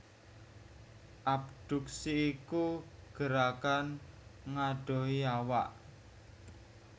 Abduksi iku gerakan ngadohi awak